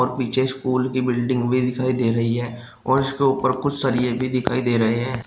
पीछे स्कूल कि बिल्डिंग भी दिखाई दे रही है और उसके ऊपर कुछ सरिए भी दिखाई दे रहे हैं।